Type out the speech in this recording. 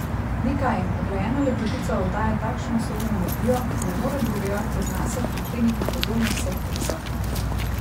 Ni kaj, uglajena lepotica oddaja takšno usodno energijo, ki ne more drugega, kot nase prikleniti pozornosti vseh prisotnih.